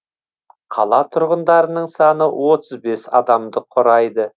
қала тұрғындарының саны отыз бес адамды құрайды